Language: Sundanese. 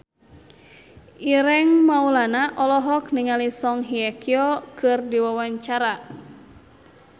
Ireng Maulana olohok ningali Song Hye Kyo keur diwawancara